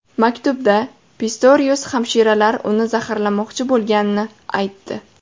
Maktubda Pistorius hamshiralar uni zaharlamoqchi bo‘lganini aytdi.